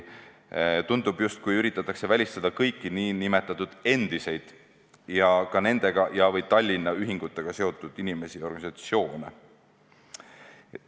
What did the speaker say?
Tundub, justkui üritatakse välistada kõiki nn endiseid ja ka nendega või Tallinna ühingutega seotud inimesi ja organisatsioone.